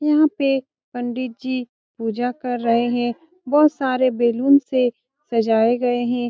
यहाँ पे पंडित जी पूजा कर रहे है बहोत सारे बैलून् से सजाये गए है।